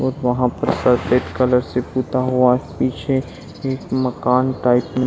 और वहाँ पर सफ़ेद कलर से पुता हुआ पीछे एक मकान टाइप में --